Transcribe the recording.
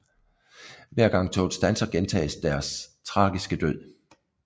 Hver gang toget standser gentages deres tragiske død